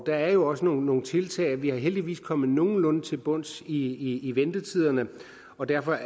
der er jo også nogle nogle tiltag vi er heldigvis kommet nogenlunde til bunds i ventetiderne og derfor